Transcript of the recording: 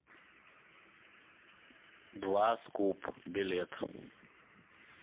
дваскуп билет